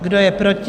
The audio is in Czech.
Kdo je proti?